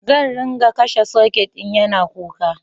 Zan ringa bashi sucker in ya na kuka